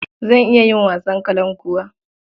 Zan iya yin wasan kalankuwa.